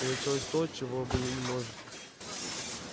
и началось то чего быня не может